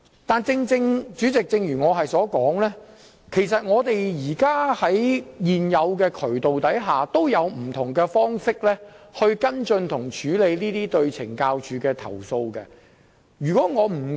但是，主席，正如我曾指出，在現有渠道下，其實已有不同方式可跟進和處理這些針對懲教署的投訴。